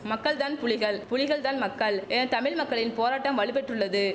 மக்கள் தான் புலிகள் புலிகள் தான் மக்கள் என தமிழ் மக்களின் போராட்டம் வலுப்பெற்றுள்ளது